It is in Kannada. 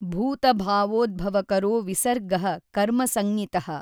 ಭೂತಭಾವೋದ್ಭವಕರೋ ವಿಸರ್ಗಃ ಕರ್ಮಸಂಜ್ಞಿತಃ।